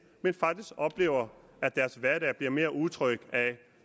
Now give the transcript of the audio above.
men faktisk oplever at deres hverdag bliver mere utryg af